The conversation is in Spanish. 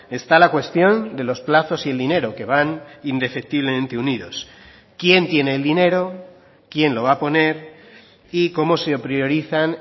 está la cuestión de los plazos y el dinero que van indefectiblemente unidos quién tiene el dinero quién lo va a poner y cómo se priorizan